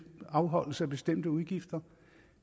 afholdelse af bestemte udgifter